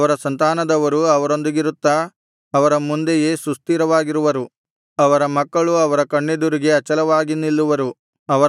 ಅವರ ಸಂತಾನದವರು ಅವರೊಂದಿಗಿರುತ್ತಾ ಅವರ ಮುಂದೆಯೇ ಸುಸ್ಥಿರವಾಗಿರುವರು ಅವರ ಮಕ್ಕಳು ಅವರ ಕಣ್ಣೆದುರಿನಲ್ಲಿ ಅಚಲವಾಗಿ ನಿಲ್ಲುವರು